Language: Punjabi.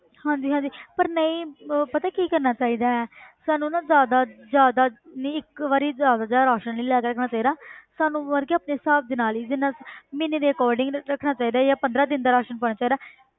ਹਾਂਜੀ ਹਾਂਜੀ ਪਰ ਨਹੀਂ ਉਹ ਪਤਾ ਕੀ ਕਰਨਾ ਚਾਹੀਦਾ ਹੈ ਸਾਨੂੰ ਨਾ ਜ਼ਿਆਦਾ ਜ਼ਿਆਦਾ ਨਹੀਂ ਇੱਕ ਵਾਰੀ ਜ਼ਿਆਦਾ ਯਾਰ ਰਾਸ਼ਣ ਨਹੀਂ ਲੈ ਲੈਣਾ ਚਾਹੀਦਾ ਸਾਨੂੰ ਮਤਲਬ ਕਿ ਆਪਣੇ ਹਿਸਾਬ ਦੇ ਨਾਲ ਹੀ ਜਿੰਨਾ ਮਹੀਨੇ ਦੇ accordingly ਰੱਖਣਾ ਚਾਹੀਦਾ ਜਾਂ ਪੰਦਰਾਂ ਦਿਨ ਦਾ ਰਾਸ਼ਣ ਪਾਉਣਾ ਚਾਹੀਦਾ।